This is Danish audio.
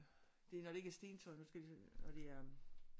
Det er når det ikke er stentøj nu skal jeg lige se når det er